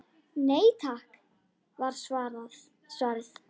Nei takk var svarið.